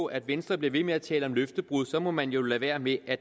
at venstre bliver ved med at tale om løftebrud må man jo lade være med at